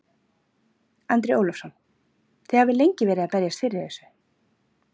Andri Ólafsson: Þið hafið lengi verið að berjast fyrir þessu?